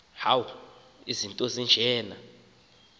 into eya kumfaka